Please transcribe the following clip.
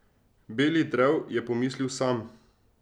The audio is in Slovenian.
Beli drev, je pomislil Sam.